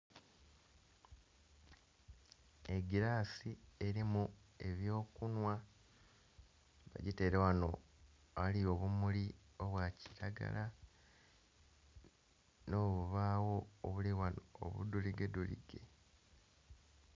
Egilasi eri mu ebyo kunhwa, bagiteire ghano aghali obumuli obwa kilagala nho bubagho obuli ghanho obudholige dholige.